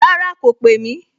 Rárá, kò pè mí